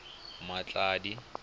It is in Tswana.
mmatladi